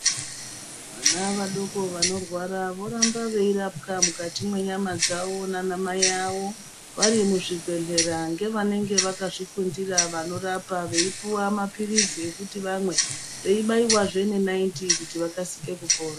Vana vadoko vano rwara voramba veirapwa mukati mwenyama dzavo nana mai avo vari muzvi bhedhlera ngevanenge vakazvi fundira vanorapa veipuwa mapiritsi ekuti vame vei baiwa zve ne naiti kuti vakasike kupora.